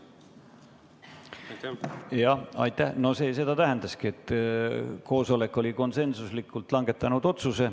See tähendaski seda, et koosolek oli konsensusliku otsuse langetanud.